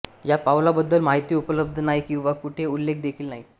ह्या पाउलाबद्दल माहिती उपलब्ध नाही किंवा कुठे उल्लेख देखील नाही